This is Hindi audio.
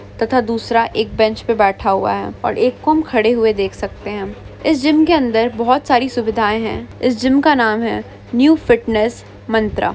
तथा दूसरा एक बेंच पे बैठा हुआ है और एक को हम खड़े हुए देख सकते हैं हम इस जिम के अंदर बहुत सारी सुविधाएं हैं इस जिमका नाम है न्यू फिटनेस मंत्रा।